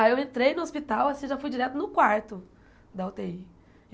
Aí, eu entrei no hospital, assim, já fui direto no quarto da ú tê í.